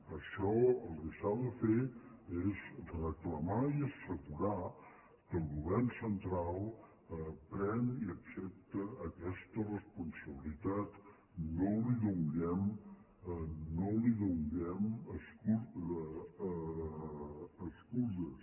en això el que s’ha de fer és reclamar i assegurar que el govern central pren i accepta aquesta responsabilitat no li donem excuses